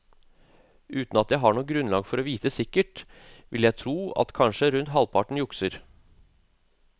Uten at jeg har noe grunnlag for å vite sikkert, vil jeg tro at kanskje rundt halvparten jukser.